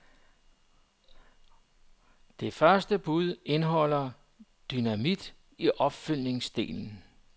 Det første bud indeholder dynamit i opfølgningsdelen.